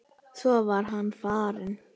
Svo var hann farinn.